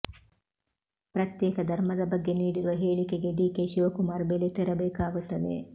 ಪ್ರತ್ಯೇಕ ಧರ್ಮದ ಬಗ್ಗೆ ನೀಡಿರುವ ಹೇಳಿಕೆಗೆ ಡಿ ಕೆ ಶಿವಕುಮಾರ್ ಬೆಲೆ ತೆರಬೇಕಾಗುತ್ತದೆ